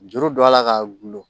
Juru don a la ka gulon